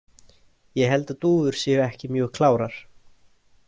Ég held að dúfur séu ekki mjög klárar.